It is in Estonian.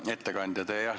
Hea ettekandja!